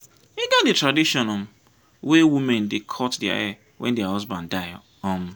e get di tradition um wey women dey cut their hair wen their husband die. um